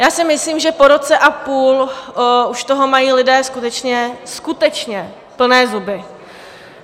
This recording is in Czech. Já si myslím, že po roce a půl už toho mají lidé skutečně, skutečně plné zuby.